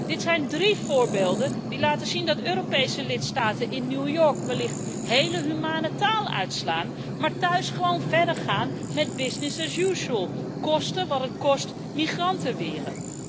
Dit zijn drie voorbeelden die laten zien dat Europese lidstaten in New York wellicht heel humane taal uitslaan, maar thuis gewoon verder gaan met business as usual koste wat het kost migranten weren.